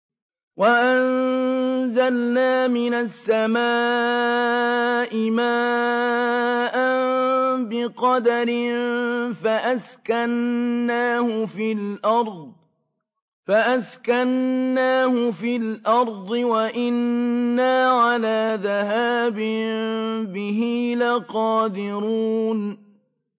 وَأَنزَلْنَا مِنَ السَّمَاءِ مَاءً بِقَدَرٍ فَأَسْكَنَّاهُ فِي الْأَرْضِ ۖ وَإِنَّا عَلَىٰ ذَهَابٍ بِهِ لَقَادِرُونَ